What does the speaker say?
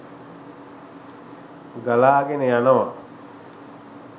ගලාගෙන යනවා.